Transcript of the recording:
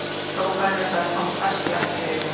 hrópanir og það kom hvass glampi í augu hans.